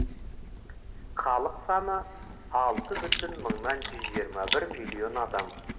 халық саны алты бүтін жүз жиырма бір миллион адам